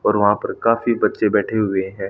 और वहां पर काफी बच्चे बैठे हुए हैं।